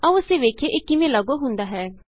ਆਉ ਅਸੀਂ ਵੇਖੀਏ ਇਹ ਕਿਵੇਂ ਲਾਗੂ ਹੁੰਦਾ ਹੈ